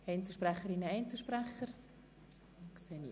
Melden sich Einzelsprecher oder Einzelsprecherinnen?